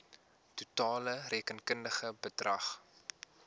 totale rekenkundige bedrag